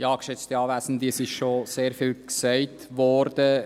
Es ist schon sehr viel gesagt worden.